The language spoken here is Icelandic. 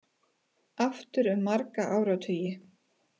Aftur um marga áratugi